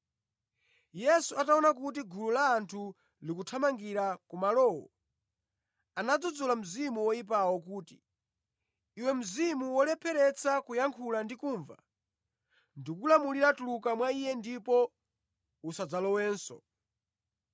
Yesu ataona kuti gulu la anthu likuthamangira kumalowo, anadzudzula mzimu woyipawo kuti, “Iwe mzimu wolepheretsa kuyankhula ndi kumva, ndikulamulira tuluka mwa iye ndipo usadzalowenso.”